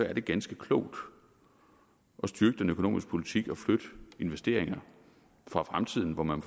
er det ganske klogt at styrke den økonomiske politik og flytte investeringer fra fremtiden hvor man